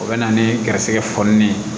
O bɛ na ni garisɛgɛ fɔli ye